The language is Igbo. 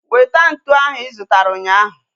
Weta ntụ ahu I zụtara ụnyaahụ